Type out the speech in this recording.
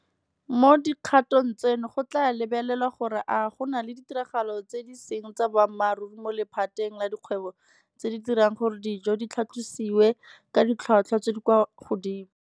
Mo dikgatong tseno go tla lebelelwa gore a go na le ditiragalo tse di seng tsa boammaruri mo lephateng la dikgwebo tse di dirang gore dijo di tlhatlhosiwe ka ditlhotlhwa tse di kwa godimo.